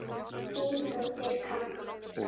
Þín dóttir, Kamma.